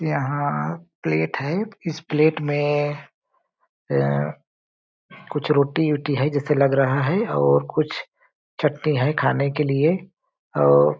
यहाँ प्लेट है इस प्लेट में अम कुछ रोटी- वोटी है जैसे लग रहा है और कुछ चटनी है खाने के लिए और --